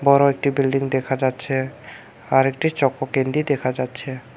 বড়ো একটি বিল্ডিং দেখা যাচ্ছে আর একটি চকো ক্যান্ডি দেখা যাচ্ছে।